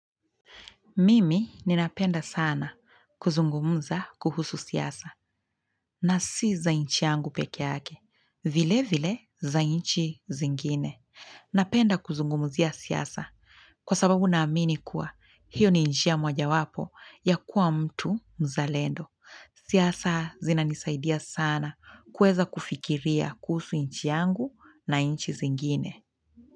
Mimi ninapenda sana kuzungumza kuhusu siasa na si za nchi yangu pekee yake, vile vile za nchi zingine. Napenda kuzungumzia siasa kwa sababu naamini kuwa hiyo ni njia moja wapo ya kuwa mtu mzalendo. Siasa zinanisaidia sana kuweza kufikiria kuhusu nchi yangu na nchi zingine.